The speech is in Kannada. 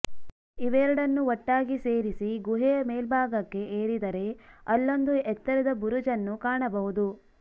ಇವೆರಡನ್ನೂ ಒಟ್ಟಾಗಿ ಸೇರಿಸಿ ಗುಹೆಯ ಮೇಲ್ಭಾಗಕ್ಕೆ ಏರಿದರೆ ಅಲ್ಲೊಂದು ಎತ್ತರದ ಬುರುಜನ್ನು ಕಾಣಬಹುದು